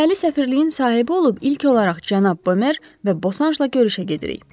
Deməli səfirliyin sahibi olub ilk olaraq cənab Bomer və Bosanjla görüşə gedirik.